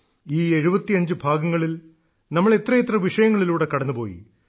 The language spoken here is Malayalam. ഈ 75 ഭാഗങ്ങളിൽ നമ്മൾ എത്രയെത്ര വിഷയങ്ങളിലൂടെ കടന്നുപോയി